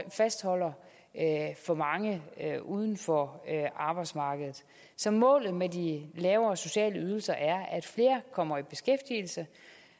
fastholder for mange uden for arbejdsmarkedet så målet med de lavere sociale ydelser er at flere kommer i beskæftigelse